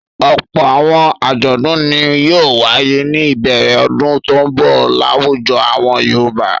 Ọ̀pọ̀ àwọn àjọ̀dún ni yóò wáyé ní ìbẹ̀rẹ̀ ọdún tó ń bọ̀ láwùjọ àwọn Yorùbá.